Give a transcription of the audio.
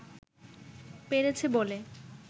পেরেছে বলে